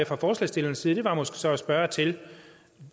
fra forslagsstillernes side var måske så at spørge til